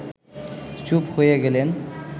চুপ হয়ে গেলেন